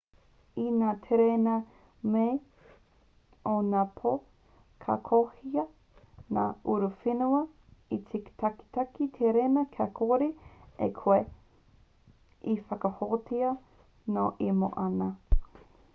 i ngā tereina-moe o ngā pō ka kohia ngā uruwhenua e te kaitaki tereina kia kore ai koe e whakahōhātia nōu e moe ana